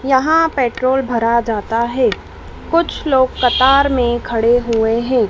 यहां पेट्रोल भरा जाता है कुछ लोग कतार में खड़े हुए हैं।